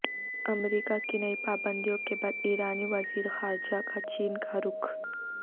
امریکہ کی نئی پابندیوں کے بعد ایرانی وزیر خارجہ کا چین کا رخ